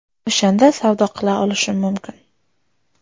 O‘shanda savdo qila olishim mumkin.